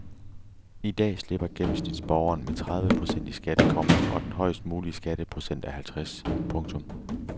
I dag slipper gennemsnitsborgeren med tredive procent i skat, komma og den højest mulige skatteprocent er halvtreds. punktum